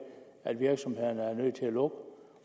er jo